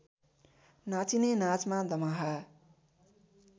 नाचिने नाचमा दमाहा